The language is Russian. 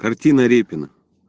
картина репина